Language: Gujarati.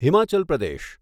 હિમાચલ પ્રદેશ